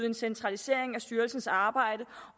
en centralisering af styrelsens arbejde